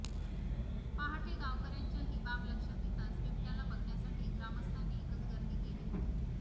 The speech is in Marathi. पहाटे गावकऱ्यांच्या ही बाब लक्षात येताच बिबट्याला बघण्यासाठी ग्रामस्थांनी एकच गर्दी केली होती